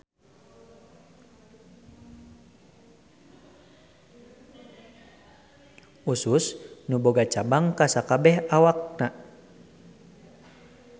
Usus nu boga cabang ka sakabeh awakna.